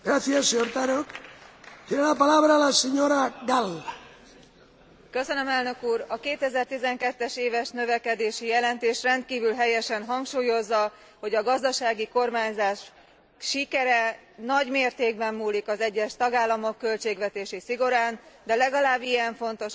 Elnök úr! A 2012 es éves növekedési jelentés rendkívül helyesen hangsúlyozza, hogy a gazdasági kormányzás sikere nagy mértékben múlik az egyes tagállamok költségvetési szigorán, de legalább ilyen fontos a gazdasági növekedés beindítása, s egy időben a belső piac kiteljesedése.